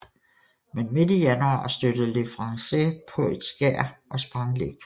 Men midt i januar stødte Le Français på et skær og sprang læk